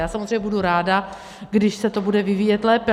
Já samozřejmě budu ráda, když se to bude vyvíjet lépe.